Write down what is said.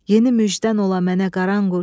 Yeni müjdən ola mənə, Qaranquş.